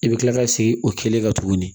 I bɛ kila ka segin o kelen kan tuguni